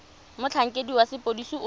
motlhankedi wa sepodisi o tla